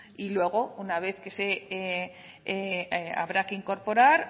y luego habrá que incorporar